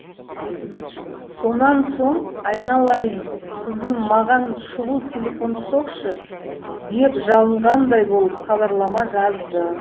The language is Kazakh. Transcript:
сонан соң айналайын қызым маған шұғыл телефон соқшы деп жалынғандай болып хабарлама жазды